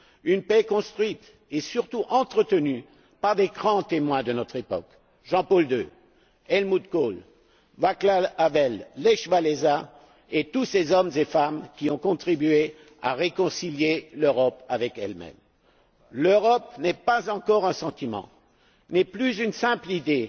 Une paix construite et, surtout, entretenue par des grands témoins de notre époque Jean PaulII, HelmutKohl, VáclavHavel, LechWałęsa, et tous ces hommes et femmes qui ont contribué à réconcilier l'Europe avec elle même. L'Europe n'est pas encore un sentiment mais plus une simple idée.